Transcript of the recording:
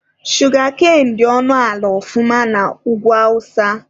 Shugakain dị ọnụ ala ọfụma na Ugwu awụsa.